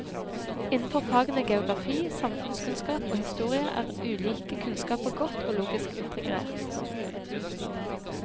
Innenfor fagene geografi, samfunnskunnskap og historie er ulike kunnskaper godt og logisk integrert.